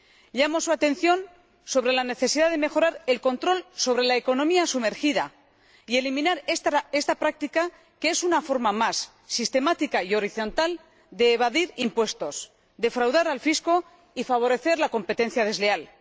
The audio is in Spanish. Llamo su atención sobre la necesidad de mejorar el control sobre la economía sumergida y eliminar esta práctica, que es una forma más, sistemática y horizontal, de evadir impuestos, defraudar al fisco y favorecer la competencia desleal.